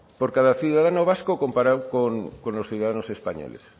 por cada ciudadano vasco comparado con los ciudadanos españoles